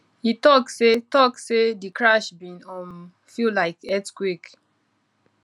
e tok say tok say di crash bin um feel like earthquake